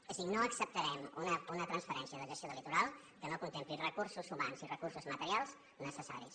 és a dir no acceptarem una transferència de gestió del litoral que no contempli recursos humans i recursos materials necessaris